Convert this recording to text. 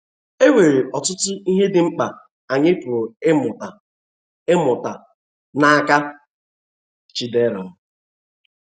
E nwere ọtụtụ ihe dị mkpa anyị pụrụ ịmụta ịmụta n’aka Chidera